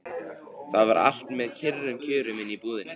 Það var allt með kyrrum kjörum inni í íbúðinni.